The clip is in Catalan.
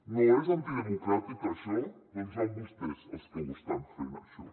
no és antidemocràtic això doncs són vostès els que ho estan fent això